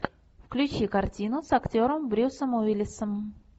включи картину с актером брюсом уиллисом